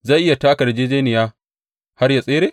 Zai iya taka yarjejjeniya har ya tsere?